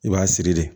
I b'a siri de